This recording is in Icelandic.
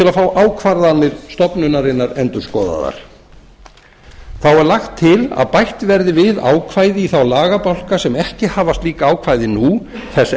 að fá ákvarðanir stofnunarinnar endurskoðaðar þá er lagt til að bætt verði við ákvæði í þá lagabálka sem ekki hafa slík ákvæði nú þess